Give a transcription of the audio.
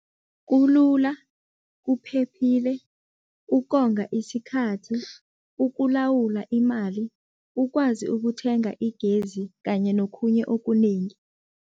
Kulula, kuphephile, ukonga isikhathi, ukulawula imali, ukwazi ukuthenga igezi kanye nokhunye okunengi.